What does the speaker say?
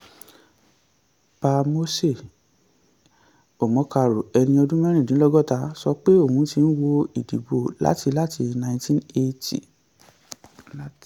pa moses omokaro ẹni ọdún mẹ́rìndínlọ́gọ́ta sọ pé òun ti ń wo ìdìbò láti láti ninety eighty